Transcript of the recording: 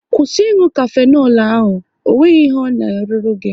Kwụsị ị nụ kafenol ahụ! Ọ nweghị ihe ọ na-arụru gị